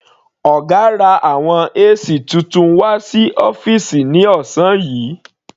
Ọ̀gá ra àwọn AC titun wà sí ọ́fìsì ní ọ̀sán yìí.